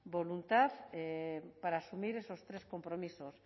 voluntad para asumir esos tres compromisos